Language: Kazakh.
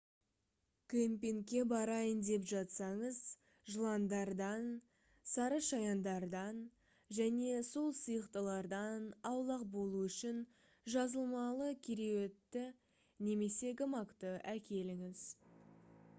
кемпингке барайын деп жатсаңыз жыландардан сарышаяндардан және сол сияқтылардан аулақ болу үшін жазылмалы кереуетті немесе гамакты әкеліңіз